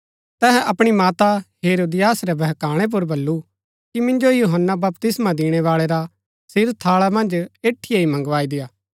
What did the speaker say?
अतै तिनी जेला मन्ज ही सपाई भैजी करी यूहन्‍ना रा सिर कटवाई दिता